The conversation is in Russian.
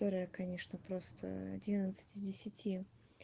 которая конечно просто одиннадцать из десяти